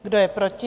Kdo je proti?